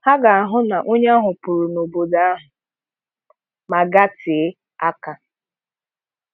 Ha ga-ahụ na onye ahụ pụrụ n'obodo ahụ ma gatee aka.